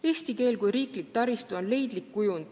Eesti keel kui riiklik taristu on leidlik kujund.